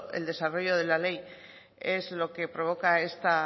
el desarrollo de la ley es lo que provoca esta